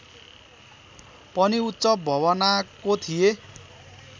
पनि उच्च भवनाको थिए